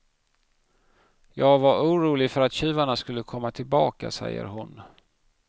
Jag var orolig för att tjuvarna skulle komma tillbaka, säger hon.